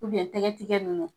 tɛgɛ tigɛ nunnu